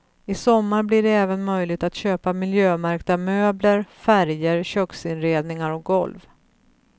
I sommar blir det även möjligt att köpa miljömärkta möbler, färger, köksinredningar och golv.